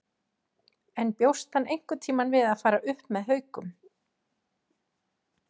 En bjóst hann einhverntímann við að fara upp með Haukum?